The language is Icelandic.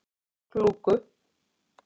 Klúku